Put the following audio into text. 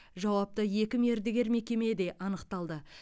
жауапты екі мердігер мекеме де анықталды